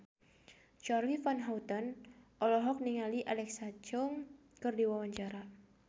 Charly Van Houten olohok ningali Alexa Chung keur diwawancara